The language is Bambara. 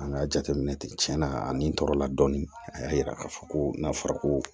An ka jateminɛ tɛ tiɲɛ na a ni tɔɔrɔla dɔɔni a y'a yira k'a fɔ ko n'a fɔra ko